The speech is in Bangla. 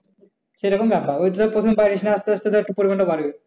সেরকম ব্যাপার ওই প্রথম পারিস না আস্তে আস্তে ধর পরিমাণ বাড়বে।